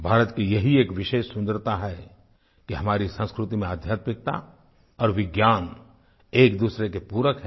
भारत की यही एक विशेष सुन्दरता है कि हमारी संस्कृति में आध्यात्मिकता और विज्ञान एक दूसरे के पूरक हैं